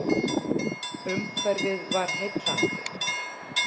Umhverfið var heillandi.